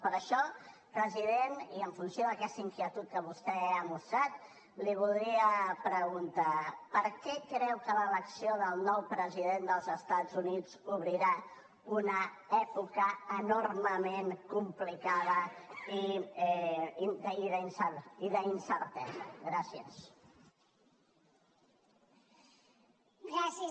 per això president i en funció d’aquesta inquietud que vostè ha mostrat li voldria preguntar per què creu que l’elecció del nou president dels estats units obrirà una època enormement complicada i d’incertesa gràcies